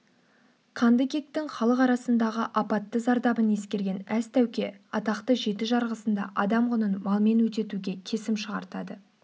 қанды кектің халық арасындағы апатты зардабын ескерген әз тәуке атақты жеті жарғысында адам құнын малмен өтетуге кесім шығартады